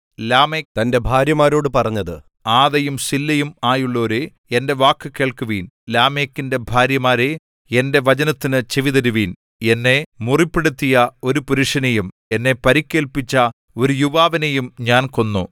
Lamech തന്റെ ഭാര്യമാരോടു പറഞ്ഞത് ആദയും സില്ലയും ആയുള്ളോരേ എന്റെ വാക്കു കേൾക്കുവിൻ ലാമെക്കിൻ ഭാര്യമാരേ എന്റെ വചനത്തിനു ചെവിതരുവിൻ എന്നെ മുറിപ്പെടുത്തിയ ഒരു പുരുഷനെയും എന്നെ പരിക്കേൽപ്പിച്ച ഒരു യുവാവിനെയും ഞാൻ കൊന്നു